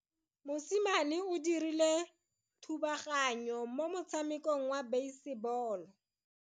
Mosimane o dirile thubaganyo mo motshamekong wa basebolo.